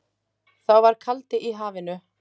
Þá var kaldi í hafinu.